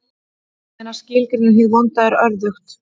En að skilgreina hið vonda er örðugt.